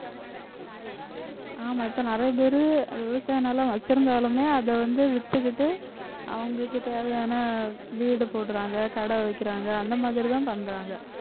ஆமா இப்ப நிறைய பேரு விவசாய நிலம் வச்சிருந்தாலுமே அதை வந்து வித்துகிட்டு அவங்களுக்கு தேவையான வீடு போடுறாங்க கடை வைக்கிறாங்க அந்த மாதிரிதான் பண்றாங்க